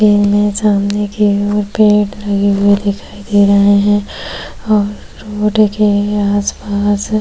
ये मेरे सामने की ओर पेड़ लगे हुए दिखाई दे रहे हैं और रोड के आसपास --